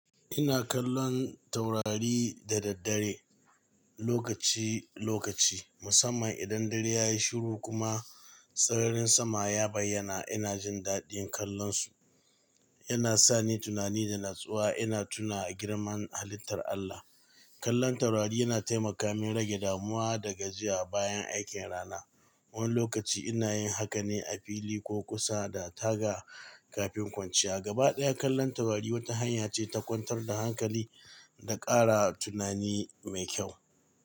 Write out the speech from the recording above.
Ina kallon taurari da daddare, lokaci-lokaci, musamman idan dare ya yi shiru kuma tsararin sama ya bayyana. Ina jin daɗin kallonsu. Yana sa ni tunani da natsuwa. Ina tuna girman halittar Allah. Kallon taurari yana taimaka min rage damuwa da gajiya bayan aikin rana. Wani lokaci ina yin haka ne a fili ko kusa da taga kafin kwanciya. Gabaɗaya, kallon taurari wata hanya ce ta kwantar da hankali da ƙara tunani mai kyau.